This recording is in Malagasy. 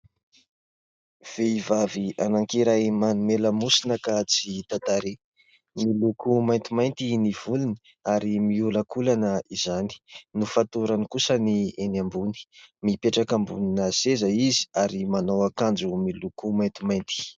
Vehivavy anankiray manome lamosina ka tsy hita tarehy. Miloko maintimainty ny volony ary miholankolana izany ary. Nofatorany kosa ny eny ambony. Mipetraka ambonina seza izy ary manao akanjo miloko maintimainty.